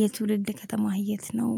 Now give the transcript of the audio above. የትውልድ ከተማ የት ነው?